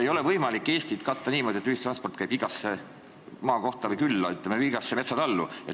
Ei ole võimalik katta Eestit niimoodi, et ühistransport käib igasse maakohta, külla või, ütleme, igasse metsatallu.